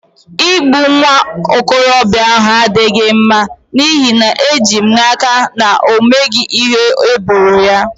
Igbu nwa okorobịa ahụ adịghị mma n'ihi na eji m n'aka na o meghị ihe eboro ya